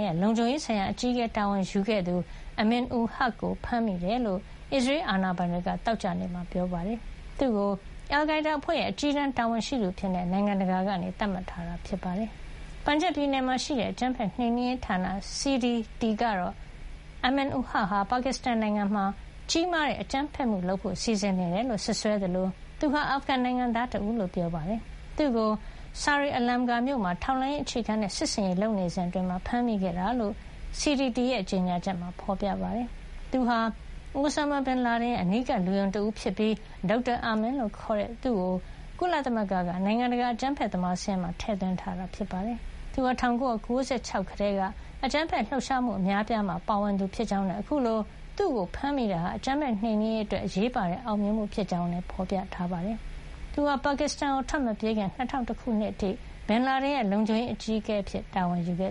ရဲ့ လုံခြုံရေးဆိုင်ရာ အကြီးအကဲ တာဝန်ယူခဲ့သူ Amin ul Haq ကို ဖမ်းမိတယ်လို့ ပါကစ္စတန် အာဏာပိုင်တွေက သောကြာနေ့မှာ ပြောပါတယ်။ သူ့ကို အယ်လ်ခိုင်းဒါးအဖွဲ့ရဲ့ အကြီးတန်း တာဝန်ရှိသူအဖြစ် နိုင်ငံတကာက သတ်မှတ်ထားတာပါ။ ပန်ဂျပ် ပြည်နယ်မှာရှိတဲ့ အကြမ်းဖက်နှိမ်နင်းရေးဌာန CDT ကတော့ Amin ul Haq ဟာ ပါကစ္စတန်နိုင်ငံမှာ ကြီးမားတဲ့ အကြမ်းဖက်မှုတွေ လုပ်ဖို့ စီစဉ်နေတယ်လို့ စွပ်စွဲခဲ့သလို သူဟာ အာဖဂန်နိုင်ငံသား တဦးလို့ ပြောပါတယ်။ သူ့ကို “ စာရေ အလမ်ဂါ” မြို့မှာ ထောက်လှမ်းရေး အခြေခံတဲ့ စစ်ဆင်ရေး လုပ်နေစဉ်အတွင်း ဖမ်းမိခဲ့တာလို့ CDT ရဲ့ ကြေညာချက်မှာ ဖေါ်ပြပါတယ်။ သူဟာ Osama bin Laden ရဲ့ အနီးကပ် လူယုံတဦးဖြစ်ပြီး Dr Amin လို့ ခေါ်ကြတဲ့ သူ့ကို ကုလသမဂ္ဂက နိုင်ငံတကာ အကြမ်းဖက်သမား စာရင်းမှာ ထည့်သွင်းထားတာပါ။ Amin ul Haq ဟာ ၁၉၉၆ ခုနှစ်ကတည်းက အကြမ်းဖက်လှုပ်ရှားမှု အများအပြားမှာ ပါဝင်နေသူဖြစ်ကြောင်းနဲ့ အခုလို သူ့ကို ဖမ်းမိတာဟာ အကြမ်းဖက်နှိမ်နင်းရေးအတွက် အရေးပါတဲ့ အောင်မြင်မှု ဖြစ်ကြောင်းလည်း ဖေါ်ပြပါတယ်။ ပါကစ္စတန်ကို ထွက်မပြေးခင် ၂၀၀၁ ခုနှစ်အထိ သူဟာ Bin Laden ရဲ့ လုံခြုံရေးအကြီးအကဲ တာဝန်ယူခဲ့